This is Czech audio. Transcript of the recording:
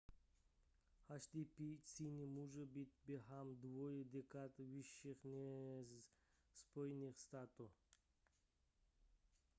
hdp číny může být během dvou dekád vyšší než spojených států